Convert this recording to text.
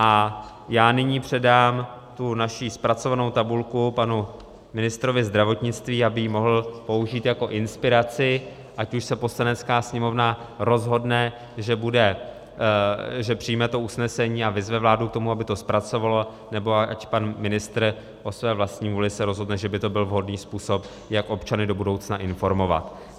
A já nyní předám tu naši zpracovanou tabulku panu ministrovi zdravotnictví, aby ji mohl použít jako inspiraci, ať už se Poslanecká sněmovna rozhodne, že přijme to usnesení a vyzve vládu k tomu, aby to zpracovala, nebo ať pan ministr o své vlastní vůli se rozhodne, že by to byl vhodný způsob, jak občany do budoucna informovat.